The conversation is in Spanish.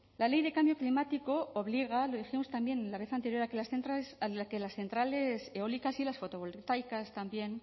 la ley de cambio climático obliga lo dijimos también la vez anterior a que las centrales eólicas y fotovoltaicas también